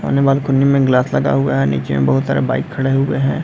सामने बालकोनी में ग्लास लगा हुआ है निचे में बहुत सारा बाइक खड़े हुए हैं।